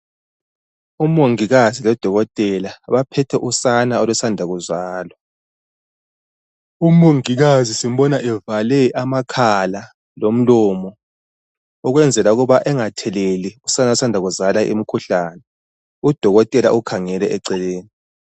Umongikazi lodokotela baphethe usane olusamda kuzalwa. Umongikazi simbona evale amakhala lomlomo ukwenzela ukuba engatheleli usana olusamda kuzalwa umkhuhlane udokotela ukhangele eceleni.